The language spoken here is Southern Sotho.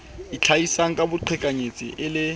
itlhahisang ka boqhekanyetsi e le